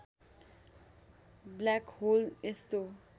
black hole यस्तो